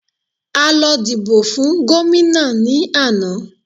A lọ dìbò fun gómìnà ní àná.